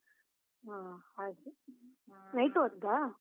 ಹ ಹಾಗೆ. ಹ night ಹೊದ್ದಾ?